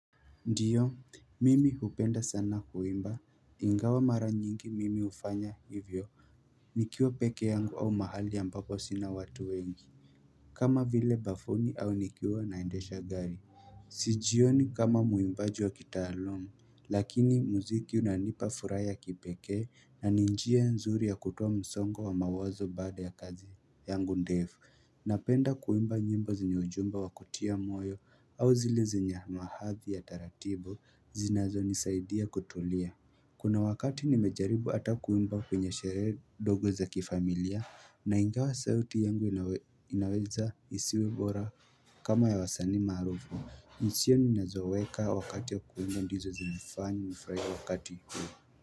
Ndiyo, mimi hupenda sana kuimba, ingawa mara nyingi mimi hufanya hivyo, nikiwa peke yangu au mahali ambapo sina watu wengi, kama vile bafuni au nikiwa naendesha gari. Jioni kama mwimbaji wa kitaluum, lakini muziki unanipa furaha ya kipeke na ni njia nzuri ya kutuwa msongo wa mawazo baada ya kazi yangu ndefu. Napenda kuimba nyimbo zinye ujumbe wa kutia moyo au zile zenye mahathi ya taratibu zinazo nisaidia kutulia Kuna wakati nimejaribu ata kuwimba kwenye shere dogo za kifamilia na ingawa sauti yangu inaweza isiwebora kama ya wasani marufu hisia nina zoweka wakati ya kuimba ndizo zemifanya nifrahie wakati huu.